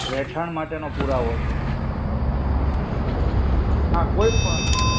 રહેઠાણ માટે નો પુરાવો છે. હા કોઈ પણ.